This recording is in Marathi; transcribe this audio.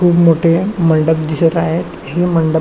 खूप मोठे मंडप दिसत आहे हे मंडप--